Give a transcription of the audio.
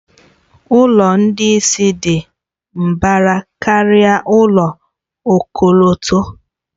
Ụlọ ndị isi dị mbara karịa ụlọ ọkọlọtọ.